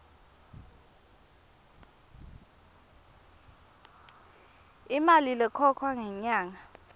imali lekhokhwa ngenyanga